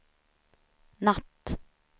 natt